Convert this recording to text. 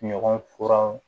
Ɲɔgɔn kuran